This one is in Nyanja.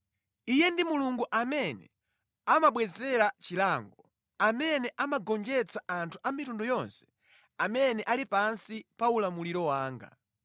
Iye ndi Mulungu amene amabwezera chilango, amene amagonjetsa anthu a mitundu yonse amene ali pansi pa ulamuliro wanga,